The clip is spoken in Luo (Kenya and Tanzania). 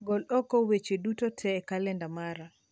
Gol oko weche duto tee e kalenda mara